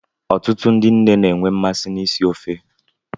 Ọtụtụ ndị nne na enwe mmasị isi ofe